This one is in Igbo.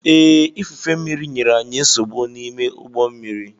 Ee, ifufe mmírí nyere anyị nsogbu n'ime ụgbọ mmiri.